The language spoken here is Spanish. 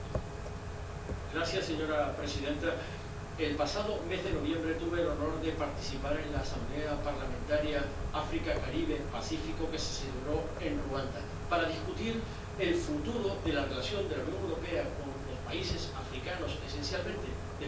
Señora presidenta, el pasado mes de noviembre tuve el honor de participar en la Asamblea Parlamentaria Paritaria ACP UE, que se celebró en Ruanda, para discutir el futuro de la relación de la Unión Europea con los países africanos, esencialmente después del Acuerdo de Cotonú.